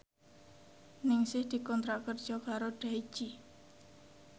Ningsih dikontrak kerja karo Daichi